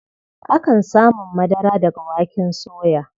Akan samun madara daga waken soya.